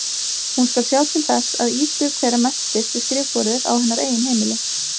Hún skal sjá til þess að Ísbjörg þeirra menntist við skrifborðið á hennar eigin heimili.